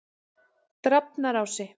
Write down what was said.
Drafnarási